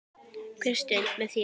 Hver stund með þér.